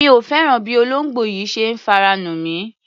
Mi ò fẹ́ràn bí olóńgbò yìí ṣe ń fara nù mí.